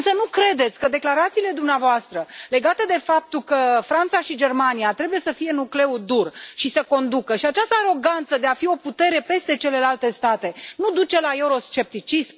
Însă nu credeți că declarațiile dumneavoastră legate de faptul că Franța și Germania trebuie să fie nucleul dur și să conducă și această aroganță de a fi o putere peste celelalte state duc la euroscepticism?